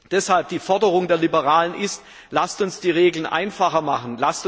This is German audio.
Deshalb ist die Forderung der Liberalen Lasst uns die Regeln einfacher machen!